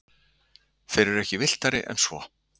þeir eru ekki villtari en svo